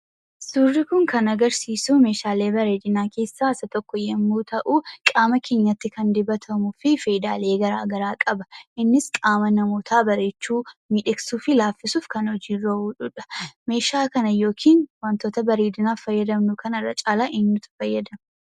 Suurri kun kan agarsiisu meeshaalee bareedinaa keessaa isa tokko yommuu ta'u qaama keenyatti kan dibatamuu fi faayidaalee garaagaraa qaba innis qaama namootaa bareechuu, miidhagsuu fi laaffisuuf kan hojiirra ooludha. Meeshaa kana yookiin wantoota bareedinaaf fayyadamnu kana irra caalaa eenyutu fayyadama?